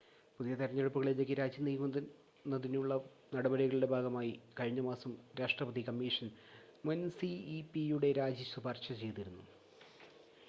പുതിയ തെരഞ്ഞെടുപ്പുകളിലേക്ക് രാജ്യം നീക്കുന്നതിനുള്ള നടപടികളുടെ ഭാഗമായി കഴിഞ്ഞ മാസം രാഷ്ട്രപതി കമ്മീഷൻ മുൻ സിഇപിയുടെ രാജി ശുപാർശ ചെയ്തിരുന്നു